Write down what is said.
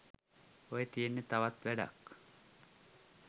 ඔය තියෙන්නේ තවත් වැඩක්.